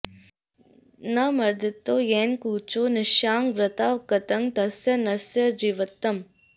न मर्दितौ येन कुचौ निशायां वृथा गतं तस्य नरस्य जीवितम्